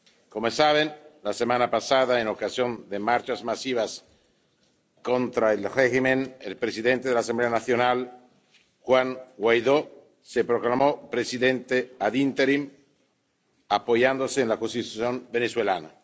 Como saben, la semana pasada, con ocasión de marchas masivas contra el régimen, el presidente de la Asamblea Nacional, Juan Guaidó, se proclamó presidente interino, apoyándose en la Constitución venezolana.